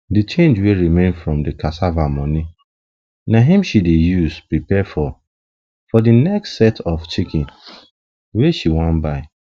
the change wey remain from the cassava moni na him she dey use prepare for for the next set of chickens wey she wan buy